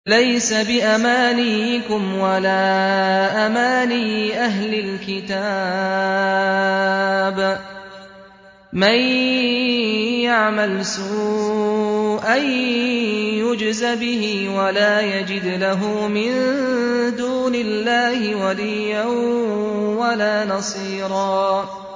لَّيْسَ بِأَمَانِيِّكُمْ وَلَا أَمَانِيِّ أَهْلِ الْكِتَابِ ۗ مَن يَعْمَلْ سُوءًا يُجْزَ بِهِ وَلَا يَجِدْ لَهُ مِن دُونِ اللَّهِ وَلِيًّا وَلَا نَصِيرًا